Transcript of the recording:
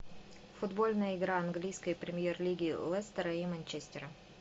футбольная игра английской премьер лиги лестера и манчестера